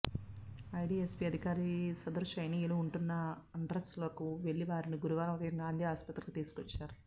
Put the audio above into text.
IDSP అధికారి సదరు చైనీయులు ఉంటున్న అడ్రస్లకు వెళ్లి వారిని గురువారం ఉదయం గాంధీ ఆస్పత్రికి తీసుకొచ్చారు